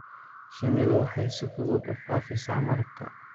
Shinnidu waxay si fudud u faafisaa malabka.